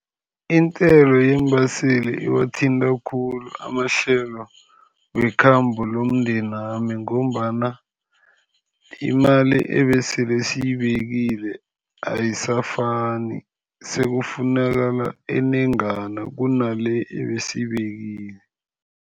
Intengo yeembaseli ibathinta khulu. Amahlelo wekhambo nomndenami ngombana imali ebesele siyibekile ayisafani, sekufunakala enengana kunale ebesiyibekile.